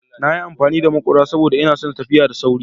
Na yi amfani da maƙura saboda ina son tafiya da sauri.